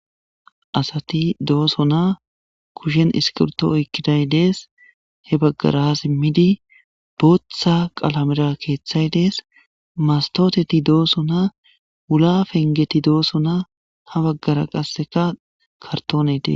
asati dooso na kushen iskilto oykkiday dees he baggara as immidi booththa qalamira keeththay dees mastoteti dooso na wula pengeti dooso na ha baggara qasseka kartonede